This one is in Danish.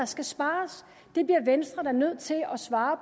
skal spares det bliver venstre da nødt til at svare